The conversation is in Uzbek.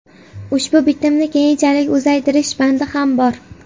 Ushbu bitimni keyinchalik uzaytirish bandi ham bor.